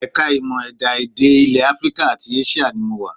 Ẹ̀ka ìmọ̀ ẹ̀dá-èdè ilẹ̀ Africa àti Asia ni mo wà